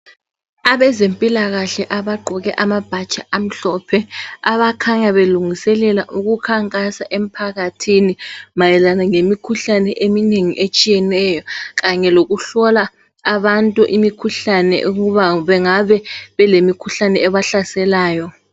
Abezemphikahle abagqoke amabhatshi amhlophe, abakhanya belungiselela ukukhankasa emphakathini mayelana ngemikhuhlane eminengi etshiyeneyo. Kanye ngokuhlola abantu imikhuhlane ukuba bengabe belemikhuhlane ebahlaselayo.